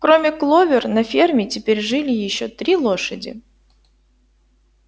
кроме кловер на ферме теперь жили ещё три лошади